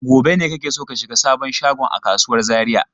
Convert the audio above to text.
Gobe ne kake so ka shiga sabon shagon a kasuwar Zariya?